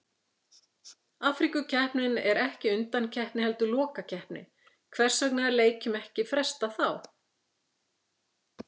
Afríkukeppnin er ekki undankeppni heldur lokakeppni, hvers vegna er leikjum ekki frestað þá?